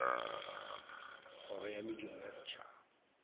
kgoro ya mediro ya setšhaba